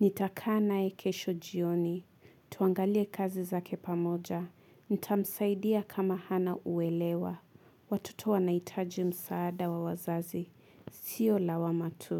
nitakaa naye kesho jioni, tuangalie kazi zake pamoja, nitamsaidia kama hana uwelewa, watoto wanahitaji msaada wa wazazi, siyo lawama tu.